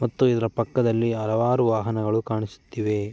ಮತ್ತು ಇದರ ಪಕ್ಕದಲ್ಲಿ ಹಲವಾರು ವಾಹನಗಳು ಕಾಣಿಸುತ್ತಿವೆ.